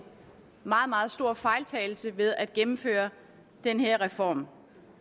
meget meget stor fejltagelse ved at gennemføre den her reform